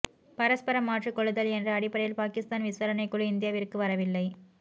பரஸ்பரம் மாற்றிக் கொள்ளுதல் என்ற அடிப்படையில் பாகிஸ்தான் விசாரணைக் குழு இந்தியாவிற்கு வரவில்லை